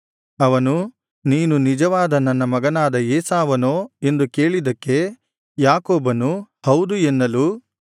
ಅವನು ನೀನು ನಿಜವಾದ ನನ್ನ ಮಗನಾದ ಏಸಾವನೋ ಎಂದು ಕೇಳಿದ್ದಕ್ಕೆ ಯಾಕೋಬನು ಹೌದು ಎನ್ನಲು